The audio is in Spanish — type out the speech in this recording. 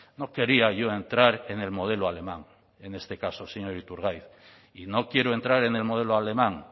no quería yo entrar en el modelo alemán en este caso señor iturgaiz y no quiero entrar en el modelo alemán